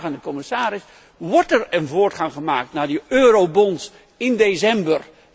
En ik heb een vraag aan de commissaris wordt er een voortgang gemaakt naar die eurobonds in december?